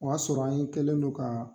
O y'a sɔrɔ an ye kɛlen non ka